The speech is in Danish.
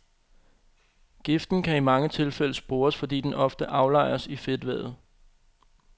Giften kan i mange tilfælde spores, fordi den ofte aflejres i fedtvævet.